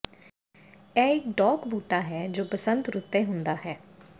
ਇਹ ਇਕ ਡੌਕ ਬੂਟਾ ਹੈ ਜੋ ਬਸੰਤ ਰੁੱਤੇ ਹੁੰਦਾ ਹੈ